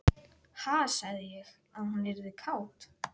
Ha, sagði ég að hún yrði kát?